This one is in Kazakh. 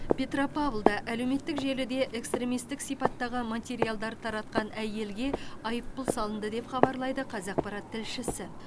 петропавлда әлеуметтік желіде экстремистік сипаттағы материалдар таратқан әйелге айыппұл салынды деп хабарлайды қазақпарат тілшісі